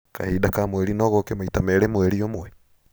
Kahinda ka mweri no gooke maita Merĩ mweri ũmwe?